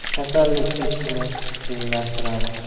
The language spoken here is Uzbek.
Kasallik kechishini qiyinlashtiradi.